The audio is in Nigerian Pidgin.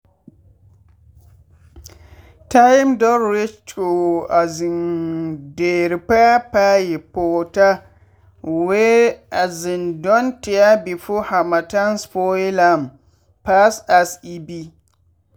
time don reach to um dey repair pipe water wey um don tear before harmattan spoil am pass as e be.